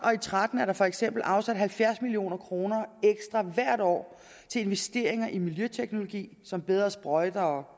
og tretten er der for eksempel afsat halvfjerds million kroner ekstra hvert år til investeringer i miljøteknologi som bedre sprøjter og